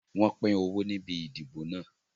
Wọn pin owó níbi ìdìbò náà